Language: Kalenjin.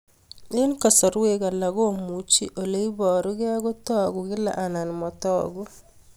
Eng'kasarwek alak komuchi ole parukei kotag'u kila anan matag'u